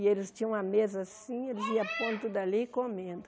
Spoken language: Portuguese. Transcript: E eles tinham uma mesa assim, eles iam pondo tudo ali e comendo.